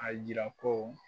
A yira ko